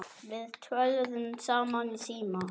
Við töluðum saman í síma.